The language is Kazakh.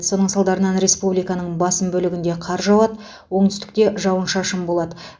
соның салдарынан республиканың басым бөлігінде қар жауады оңтүстікте жауын шашын болады